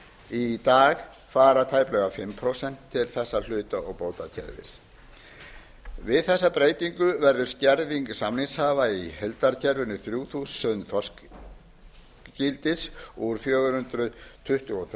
í dag fara tæplega fimm prósent til þessa hluta og kvótakerfis við þessa breytingu verður skerðing samningshafa í heildargerðinni þrjú þúsund þorskígildi úr fjögur hundruð tuttugu og þrjú þúsund